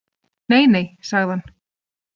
Neinei, sagði hann.